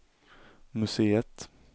museet